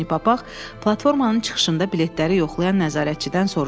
Pony Papaq platformanın çıxışında biletləri yoxlayan nəzarətçidən soruşdu.